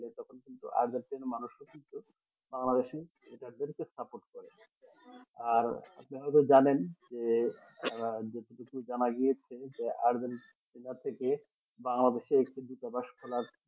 কিন্তু আর্জেন্টিনা মানুষও কিন্তু বাংলাদেশ এনাদেরকে support করে আর আপনারা তো জানেন যে তারা যতটুকু জানা গিয়েছে যে আর্জেন্টিনা থেকে বাংলাদেশ এ কিন্তু তারা